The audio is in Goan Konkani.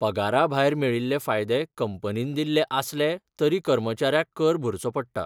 पगाराभायर मेळिल्ले फायदे कंपनीन दिल्ले आसले तरी कर्मचाऱ्याक कर भरचो पडटा.